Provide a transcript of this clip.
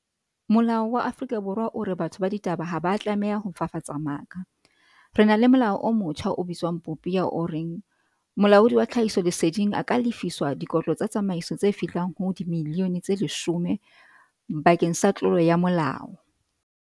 Molao wa Afrika Borwa o re batho ba ditaba ha ba tlameha ho fafatsa maka. Re na le molao o motjha o bitswang Popia o reng Molaudi wa Tlhahisoleseding a ka lefiswa dikotlo tsa tsamaiso tse fihlang ho di-million-e tse leshome bakeng sa tlolo ya molao.